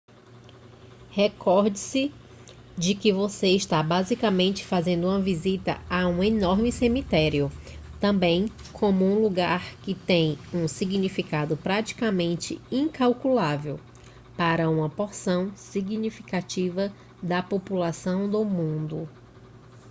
recorde-se de que você está basicamente fazendo uma visita a um enorme cemitério também como um lugar que tem um significado praticamente incalculável para uma porção significativa da população do mundo